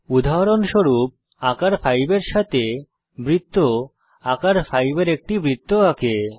উদাহরণস্বরূপ আকার 5 এর সাথে বৃত্ত আকার 5 এর একটি বৃত্ত আঁকে